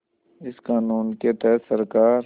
इस क़ानून के तहत सरकार